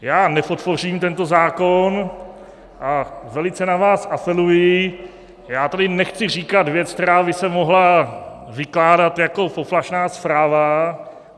Já nepodpořím tento zákon a velice na vás apeluji - já tady nechci říkat věc, která by se mohla vykládat jako poplašná zpráva.